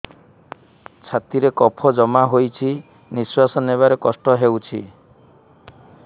ଛାତିରେ କଫ ଜମା ହୋଇଛି ନିଶ୍ୱାସ ନେବାରେ କଷ୍ଟ ହେଉଛି